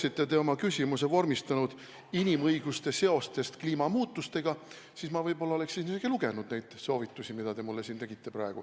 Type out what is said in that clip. Kui te oleksite oma küsimuse vormistanud nii, et see oleks inimõiguste seostest kliimamuutustega, siis ma võib-olla oleksin isegi lugenud neid soovitusi, mida te mulle siin praegu jagasite.